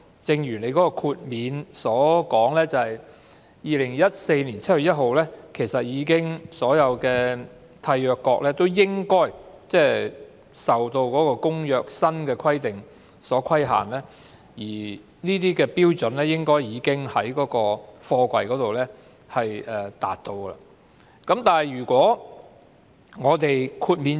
政府表示，在2014年7月1日以後，所有締約國應已受《公約》的新規定所規限，而貨櫃亦應已達到有關的標準。